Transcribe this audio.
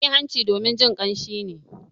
An yi hanci domin jin kamshi ne.